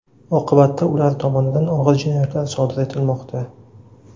Oqibatda ular tomonidan og‘ir jinoyatlar sodir etilmoqda.